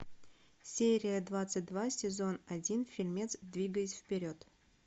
серия двадцать два сезон один фильмец двигаясь вперед